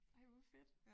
Ej hvor fedt